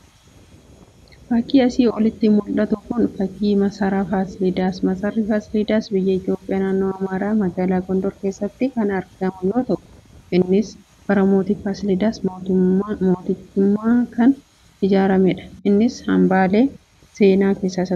Fakiin asii olitti mu'atu kun fakii Maasara Faasildaasi. Maasarri Faasilidaas biyya Itoophiyaa naannoo Amaaraa magaalaa Gondor keessatti kan argamu yooo ta'u innis bara mooti Faasilidas mootiichumaan kan ijaarramedha. innis hambaalee seenaa keessa isa tokkodha.